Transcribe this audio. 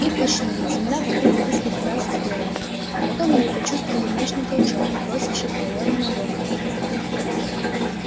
их качнуло земля вокруг несколько раз вздрогнула а потом они почувствовали мощный толчок бросивший пауэлла на донована